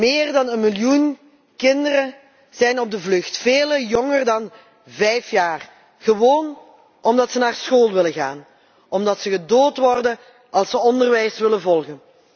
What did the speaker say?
Meer dan een miljoen kinderen zijn op de vlucht, velen jonger dan vijf jaar, gewoon omdat ze naar school willen gaan, omdat ze gedood worden als ze onderwijs willen volgen.